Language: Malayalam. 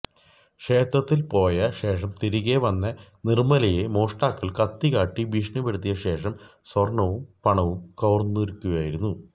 ക്ഷേത്രത്തില് പോയ ശേഷം തിരികെ വന്ന നിര്മ്മലയെ മോഷ്ടാക്കള് കത്തി കാട്ടി ഭീഷണിപ്പെടുത്തിയ ശേഷം സ്വര്ണവും പണവും കവരുകയായിരുന്നു